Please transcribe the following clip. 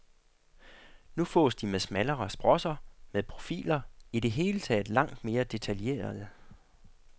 Nu fås de med smallere sprosser, med profiler, i det hele taget langt mere detaljerede.